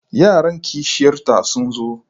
Yaran kishiyar ta sun zo.